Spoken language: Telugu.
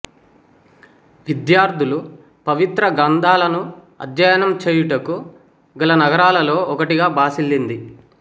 విద్యార్థులు పవిత్ర గ్రంథాలను అధ్యయనం చేయుటకు గల నగరాలలో ఒకటిగా భాసిల్లింది